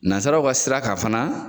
Nazaraw ka sira kan fana